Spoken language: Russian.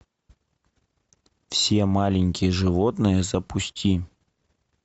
все маленькие животные запусти